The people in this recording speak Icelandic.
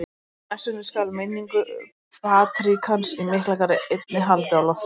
Í messunni skal minningu patríarkans í Miklagarði einni haldið á loft.